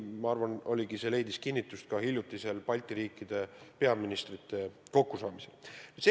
Ma arvan, see leidis kinnitust ka hiljutisel Balti riikide peaministrite kokkusaamisel.